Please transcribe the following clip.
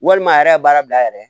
Walima a yɛrɛ ye baara bila a yɛrɛ ye